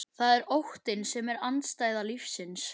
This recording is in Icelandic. Það er óttinn sem er andstæða lífsins.